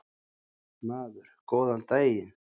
Maður: Góðan daginn.